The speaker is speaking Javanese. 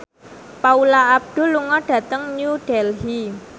Paula Abdul lunga dhateng New Delhi